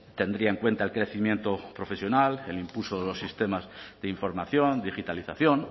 tendría en cuenta el crecimiento profesional el impulso de los sistemas de información digitalización